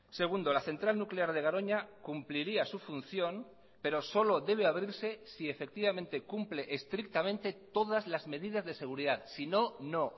segundo la central nuclear de garoña cumpliría su función pero solo debe abrirse si efectivamente cumple estrictamente todas las medidas de seguridad sino no